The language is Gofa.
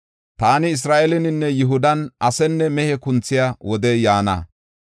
“Taani Isra7eeleninne Yihudan asenne mehe kunthiya wodey yaana.